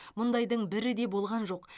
мұндайдың бірі де болған жоқ